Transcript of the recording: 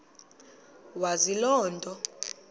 wazi loo nto